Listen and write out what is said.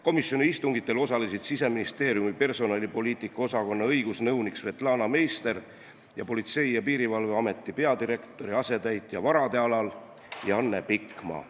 Komisjoni istungitel osalesid Siseministeeriumi personalipoliitika osakonna õigusnõunik Svetlana Meister ning Politsei- ja Piirivalveameti peadirektori asetäitja varade alal Janne Pikma.